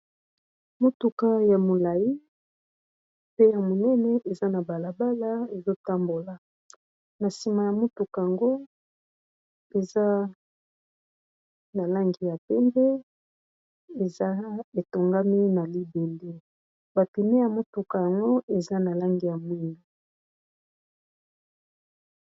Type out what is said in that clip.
Motuka ya molai pe ya monene eza na bala bala ezo tambola, na nsima ya motuka yango eza na langi ya pembe. Eza etongami na libende, ba pneu ya motuka yango eza na langi ya mwindu.